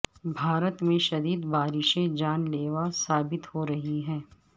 بھارت میں شدید بارشیں جان لیوا ثابت ہو رہی ہیں